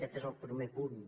aquest és el primer punt